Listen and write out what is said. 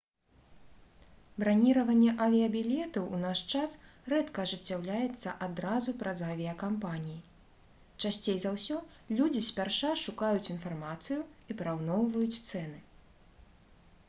браніраванне авіябілетаў у наш час рэдка ажыццяўляецца адразу праз авіякампаніі часцей за ўсё людзі спярша шукаюць інфармацыю і параўноўваюць цэны